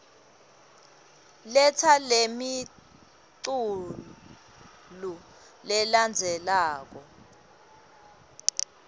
letsa lemiculu lelandzelako